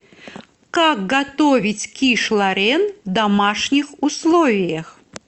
как готовить киш лорен в домашних условиях